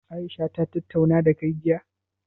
Aisha ta tattauna dakai jiya?